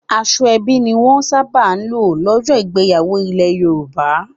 Aṣọ ẹbí ni wọ́n sábà ń lò lọ́jọ́ ìgbéyàwó ilẹ̀ Yorùbá.